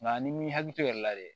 Nka ni m'i hakili to o yɛrɛ la dɛ